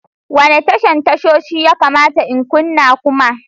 Wane tashar tashoshi ya kamata in kunna kuma?